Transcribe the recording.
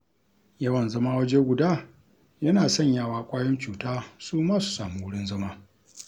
Yawan zama waje guda yana sanyawa ƙwayoyin cuta suma su sami wurin zama.